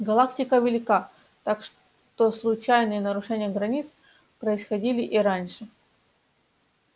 галактика велика так что случайные нарушения границ происходили и раньше